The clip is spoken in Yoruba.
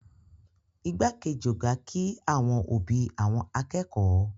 Igbákejì ọ̀gá kí àwọn òbí àwọn akẹ́kọ̀ọ́